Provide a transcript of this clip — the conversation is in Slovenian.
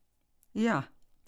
Ja.